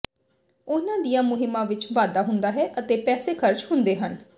ਉਨ੍ਹਾਂ ਦੀਆਂ ਮੁਹਿੰਮਾਂ ਵਿਚ ਵਾਧਾ ਹੁੰਦਾ ਹੈ ਅਤੇ ਪੈਸੇ ਖਰਚ ਹੁੰਦੇ ਹਨ